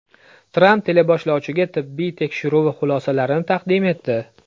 Tramp teleboshlovchiga tibbiy tekshiruvi xulosalarini taqdim etdi.